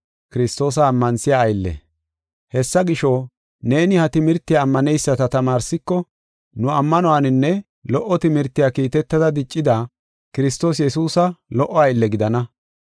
Hessa gisho, neeni ha timirtiya ammaneyisata tamaarsiko, nu ammanuwaninne lo77o timirtiya kiitetada diccida, Kiristoos Yesuusa lo77o aylle gidana.